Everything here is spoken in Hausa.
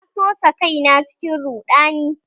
Na sosa kaina cikin ruɗani